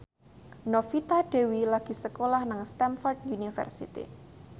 Novita Dewi lagi sekolah nang Stamford University